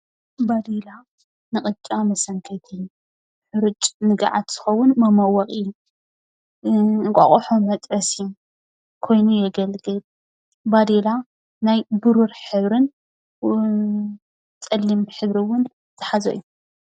ባዴላ ንቅጫ መሰንከቲ፣ ሕሩጭ ንጋዓት ዝኸውን መመወቂ ፣ እንቋቅሖ መጥበሲ ኮይኑ የገልግል። ባዴላ ናይ ብሩር ሕብርን ፀሊም ሕብሪ እውን ዝሓዘ እዩ።